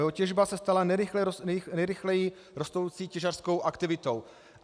Jeho těžba se stala nejrychleji rostoucí těžařskou aktivitou."